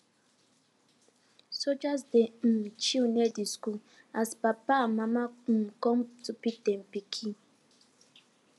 soldiers dey um chill near de school as mama and papa um com to carry dem pikin